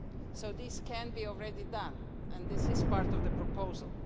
So this can be already done, and this is part of the proposal.